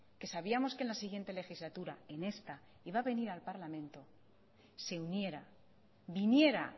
que sabíamos que en la siguiente legislatura en esta iba a venir al parlamento se uniera viniera